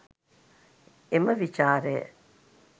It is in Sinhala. එම විචාරය